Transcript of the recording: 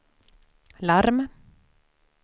larm